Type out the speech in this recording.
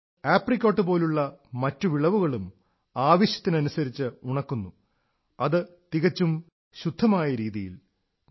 ഇത് ആപ്രിക്കേട്ട് പോലുള്ള മറ്റു വിളവുകളും ആവശ്യത്തിനനുസരിച്ച് ഉണക്കുന്നു അതു തികച്ചും ശുദ്ധമായ രീതിയിൽ